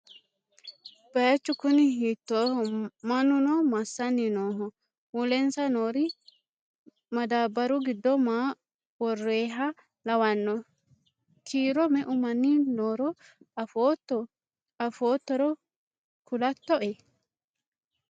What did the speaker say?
Bayiichu kuni hiittoho? Mannuno massanni nooho? Mulensa noori madaabaru giddo maa worroyiha lawanno? Kiiro meu manni nooro afootto afoottoro kulattoe?